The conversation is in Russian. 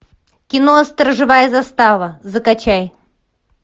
кино сторожевая застава закачай